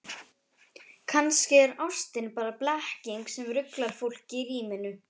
Kannski er ástin bara blekking sem ruglar fólk í ríminu.